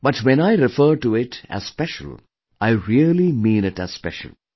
But, when I refer to it as special, I really mean it as special